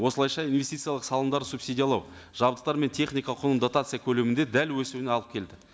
осылайша инвестициялық салымдарды субсидиялау жабдықтар мен техника құнын дотация көлемінде дәл өсуіне алып келді